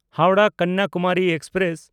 ᱦᱟᱣᱲᱟᱦ–ᱠᱟᱱᱱᱟᱠᱩᱢᱟᱨᱤ express